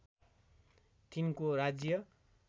तिनको राज्य